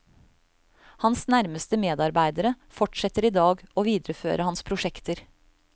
Hans nærmeste medarbeidere fortsetter i dag å videreføre hans prosjekter.